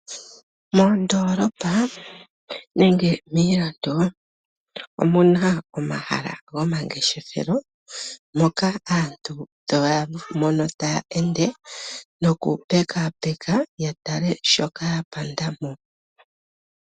Moondoolopa nenge miilando omu na omahala gomangeshefelo, moka aantu to ya mono ta ya ende nokupekaapeka yo ya tale shoka ya panda mo.